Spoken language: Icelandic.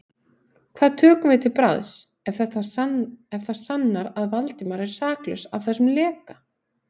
Hvað tökum við til bragðs, ef það sannast að Valdimar er saklaus af þessum leka?